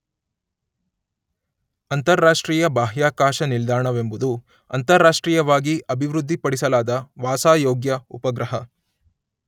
ಅಂತರರಾಷ್ಟ್ರೀಯ ಬಾಹ್ಯಾಕಾಶ ನಿಲ್ದಾಣ ವೆಂಬುದು ಅಂತರರಾಷ್ಟ್ರೀಯವಾಗಿ ಅಭಿವೃದ್ಧಿಪಡಿಸಲಾದ ವಾಸಾಯೋಗ್ಯ ಉಪಗ್ರಹ